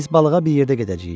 Biz balığa bir yerdə gedəcəyik.